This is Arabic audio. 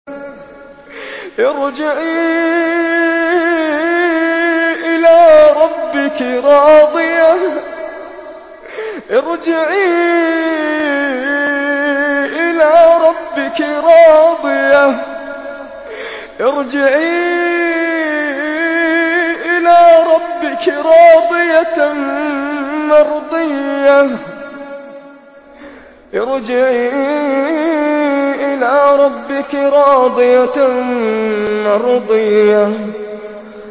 ارْجِعِي إِلَىٰ رَبِّكِ رَاضِيَةً مَّرْضِيَّةً